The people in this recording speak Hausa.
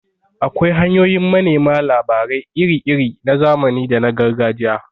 Akwai hanyoyin manema labarai iri-iri na zamani da na Gargajiya.